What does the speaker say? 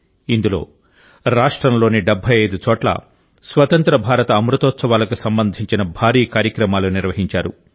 ఇందులో రాష్ట్రంలోని 75 చోట్ల స్వతంత్ర భారత అమృతోత్సవాలకు సంబంధించిన భారీ కార్యక్రమాలు నిర్వహించారు